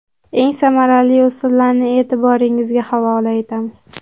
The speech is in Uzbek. Eng samarali usullarni e’tiboringizga havola etamiz.